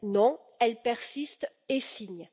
Non, elle persiste et signe.